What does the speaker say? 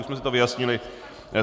Už jsme si to vyjasnili.